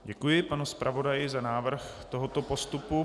Děkuji panu zpravodaji za návrh tohoto postupu.